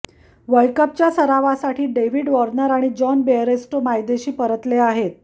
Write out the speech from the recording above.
वर्ल्डकपच्या सरावासाठी David Warner आणि John Bairstow मायदेशी परतले आहेत